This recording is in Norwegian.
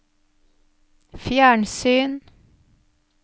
fjernsyn